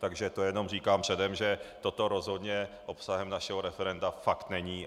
Takže to jenom říkám předem, že toto rozhodně obsahem našeho referenda fakt není.